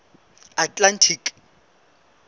atlantic